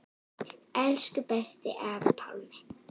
Elsku besti afi Pálmi.